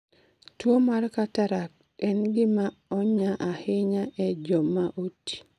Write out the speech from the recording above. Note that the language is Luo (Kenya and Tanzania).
Tuwo mar cataract en gima onya ahinya e joma oti